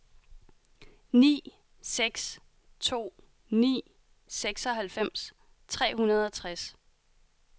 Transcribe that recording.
ni seks to ni seksoghalvfems tre hundrede og tres